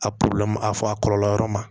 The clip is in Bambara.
A a fɔ a kɔlɔlɔ yɔrɔ ma